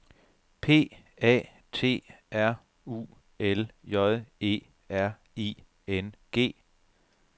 P A T R U L J E R I N G